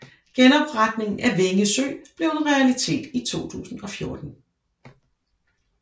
Genopretningen af Vænge Sø blev en realitet i 2014